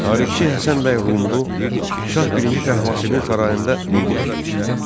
Tarixçi Həsən bəy Rumlu Şah Birinci Təhmasibin sarayında qulluq etmişdi.